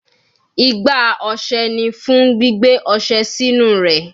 Igbá ọṣẹ ni fun gbigbe ọṣẹ sinu rẹ